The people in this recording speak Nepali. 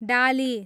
डाली